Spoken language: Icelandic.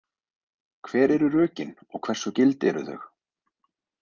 Hver eru rökin og hversu gild eru þau?